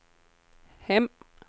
hem